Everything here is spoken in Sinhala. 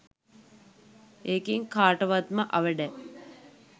ඒකෙන් කාටවත්ම අවැඩක්